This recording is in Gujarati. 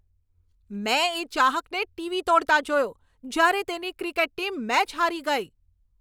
મેં એ ચાહકને ટીવી તોડતા જોયો, જ્યારે તેની ક્રિકેટ ટીમ મેચ હારી ગઈ.